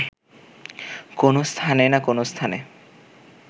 কোন স্থানে না কোন স্থানে